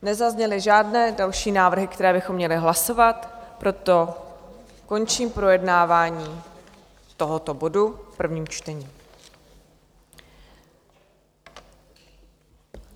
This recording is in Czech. Nezazněly žádné další návrhy, které bychom měli hlasovat, proto končím projednávání tohoto bodu v prvním čtení.